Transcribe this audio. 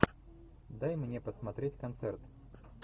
дай мне посмотреть концерт